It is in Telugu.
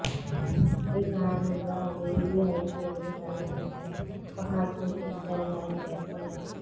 ఈ కారణంగా వీవీఐపీలు తనను అపహాస్యం చేశారని ఆయన పేర్కొన్నారు